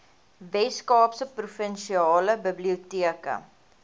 weskaapse provinsiale biblioteke